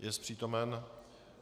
Jest přítomen?